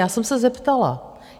Já jsem se zeptala.